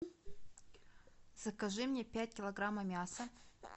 закажи мне пять килограмма мяса